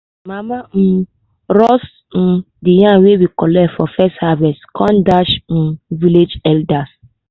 mama um roast um de yam wey we collect for first harvest com dash um village elders